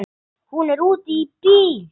Hún er úti í bíl!